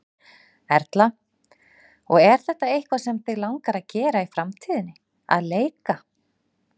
Erla: Og er þetta eitthvað sem þig langar að gera í framtíðinni, að leika?